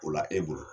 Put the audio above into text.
O la e bolo